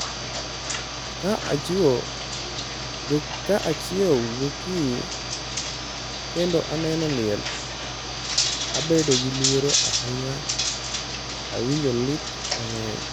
Ka achiewo gokinyi kendo aneno liel, abedo gi luoro ahinya, awinjo lit mang’eny.